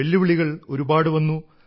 വെല്ലുവിളികൾ ഒരുപാട് വന്നു